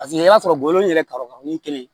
Paseke i b'a sɔrɔ bɔrɔ in yɛrɛ kɔrɔ ni kelen ye